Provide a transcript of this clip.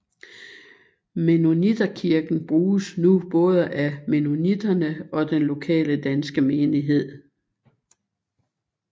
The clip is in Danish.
Mennonitterkirken bruges nu både af mennoniterne og den lokale danske menighed